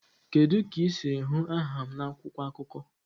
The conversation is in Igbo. Kedu ka ị siri hụ aha m na akwụkwọ akụkọ?